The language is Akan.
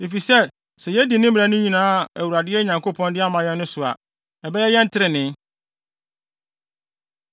Efisɛ sɛ yedi mmara no nyinaa a Awurade, yɛn Nyankopɔn, de ama yɛn no so a, ɛbɛyɛ yɛn trenee.”